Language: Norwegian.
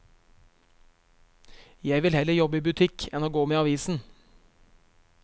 Jeg vil heller jobbe i butikk enn å gå med avisen.